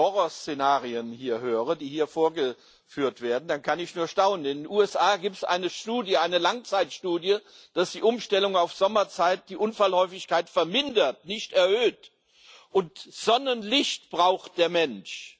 Wenn ich die Horrorszenarien höre, die hier vorgeführt werden, dann kann ich nur staunen. In den USA gibt es eine Langzeitstudie, dass die Umstellung auf Sommerzeit die Unfallhäufigkeit vermindert nicht erhöht und Sonnenlicht braucht der Mensch.